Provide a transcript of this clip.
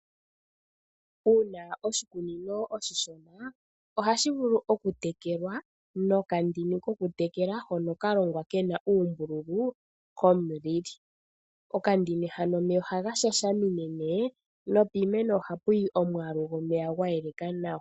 Uuna oshikunino oshishona, ohashi vulu okutekelwa nokandini kokutekela hono ka longwa ke na uumbululu komulili. Okandini hano omeya ohaga shashamine nduno, nopiimeno ohapu yi omwaalu gomeya gwa yeleka nawa.